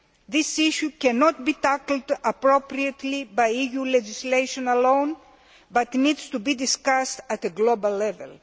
This issue cannot be tackled appropriately by EU legislation alone, but needs to be discussed at a global level.